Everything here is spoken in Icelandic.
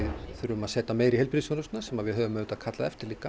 þurfum að setja meira í heilbrigðisþjónustuna sem við höfum auðvitað kallað eftir líka